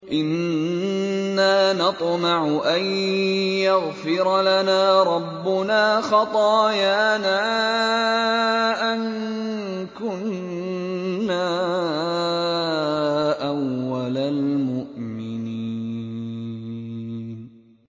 إِنَّا نَطْمَعُ أَن يَغْفِرَ لَنَا رَبُّنَا خَطَايَانَا أَن كُنَّا أَوَّلَ الْمُؤْمِنِينَ